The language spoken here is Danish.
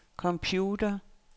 computer